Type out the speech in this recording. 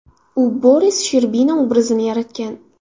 U Boris Sherbina obrazini yaratgan.